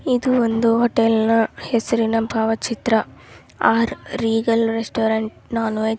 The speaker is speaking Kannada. ಇದು ಒಂದು ಹೊಟೇಲನಾ ಹೆಸರಿನ ಭಾವಚಿತ್ರ R Regal restaurant non veg